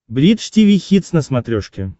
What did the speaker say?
бридж тиви хитс на смотрешке